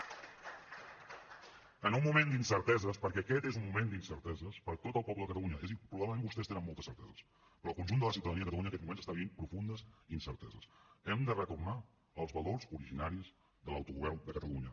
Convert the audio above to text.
en un moment d’incerteses perquè aquest és un moment d’incerteses per a tot el poble de catalunya és a dir probablement vostès tenen moltes certeses però el conjunt de la ciutadania de catalunya en aquests moments està vivint profundes incerteses hem de retornar als valors originaris de l’autogovern de catalunya